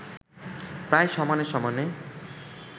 প্রায় সমানে-সমানে